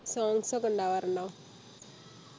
songs ഒക്കെ ഉണ്ടാകാറുണ്ടോ